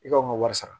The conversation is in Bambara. I ka u ka wari sara